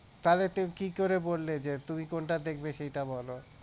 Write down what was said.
তাহলে তুমি কি করে বললে যে তুমি কোনটা দেখবে সেটা বল